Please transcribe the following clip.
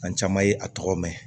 An caman ye a tɔgɔ mɛn